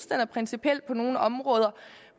den er principiel på nogle områder